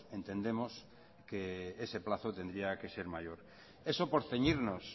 entendemos que ese plazo tendría que ser mayor eso por ceñirnos